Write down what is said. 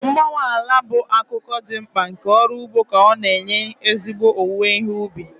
Mgbanwe ala bụ akụkụ dị mkpa nke ọrụ ugbo ka ọ na-enye ezigbo owuwe ihe ubi.